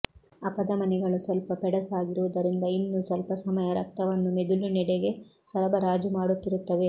ಅಪಧಮನಿಗಳು ಸ್ವಲ್ಪ ಪೆಡಸಾಗಿರುವುದರಿಂದ ಇನ್ನೂ ಸ್ವಲ್ಪ ಸಮಯ ರಕ್ತವನ್ನು ಮೆದುಳಿ ನೆಡೆಗೆ ಸರಬರಾಜು ಮಾಡುತ್ತಿರುತ್ತವೆ